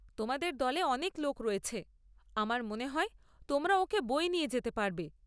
তোমাদের দলে অনেক লোক রয়েছে, আমার মনে হয় তোমরা ওঁকে বয়ে নিয়ে যেতে পারবে।